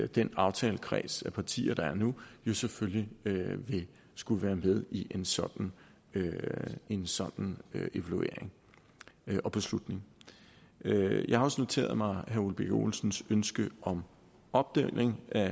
den aftalekreds af partier der er nu jo selvfølgelig vil skulle være med i en sådan en sådan evaluering og beslutning jeg har også noteret mig herre ole birk olesens ønske om opdeling af